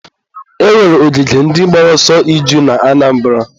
e nwere ogige ndị gbara ọsọ iju na Anambara.